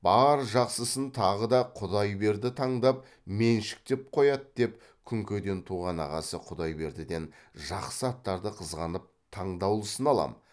бар жақсысын тағы да құдайберді таңдап меншіктеп қояды деп күнкеден туған ағасы құдайбердіден жақсы аттарды қызғанып таңдаулысын алам